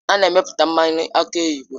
Ha na-emepụta mmanụ aki oyibo